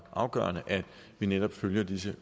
afgørende at vi netop følger disse